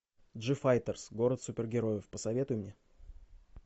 джифайтерс город супергероев посоветуй мне